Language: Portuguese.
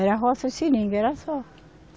Era roça e seringa, era só.